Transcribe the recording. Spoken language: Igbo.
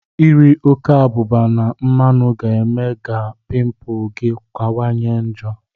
Ịri ọke abụba na mmanụ ga eme ga pimpul gi kawa nye njo.